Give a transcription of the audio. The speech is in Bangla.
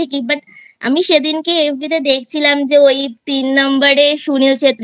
ঠিকই But আমি সেদিনকে FB তে দেখছিলাম যে ওই তিন Number এ Sunil Chhetri কে